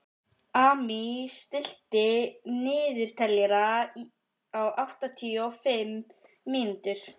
Amy, stilltu niðurteljara á áttatíu og fimm mínútur.